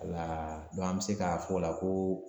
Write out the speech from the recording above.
Wala an bɛ se k'a fɔ o la ko.